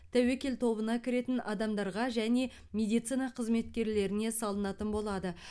тәуекел тобына кіретін адамдарға және медицина қызметкерлеріне салынатын болады